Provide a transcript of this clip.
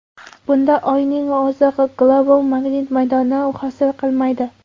Bunda Oyning o‘zi global magnit maydoni hosil qilmaydi.